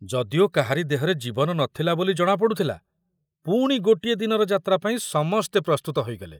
ଯଦିଓ କାହାରି ଦେହରେ ଜୀବନ ନ ଥିଲା ବୋଲି ଜଣା ପଡୁଥୁଲା, ପୁଣି ଗୋଟିଏ ଦିନର ଯାତ୍ରା ପାଇଁ ସମସ୍ତେ ପ୍ରସ୍ତୁତ ହୋଇଗଲେ।